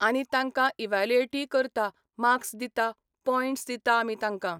आनी तांकां इवालुएटी करता मार्क्स दिता पॉयंट्स दिता आमी तांकां.